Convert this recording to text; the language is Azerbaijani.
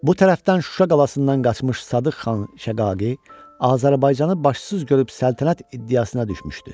Bu tərəfdən Şuşa qalasından qaçmış Sadıq Xan Şəqaqi Azərbaycanı başsız görüb səltənət iddiasına düşmüşdü.